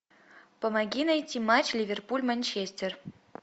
помоги найти матч ливерпуль манчестер